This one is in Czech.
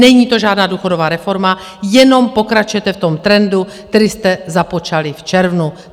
Není to žádná důchodová reforma, jenom pokračujete v tom trendu, který jste započali v červnu.